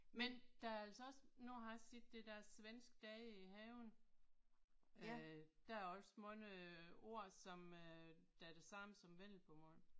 Men der er altså også nu har jeg set det der svenske dage i haven. Øh der er også mange ord som øh der er det samme som vendelbomål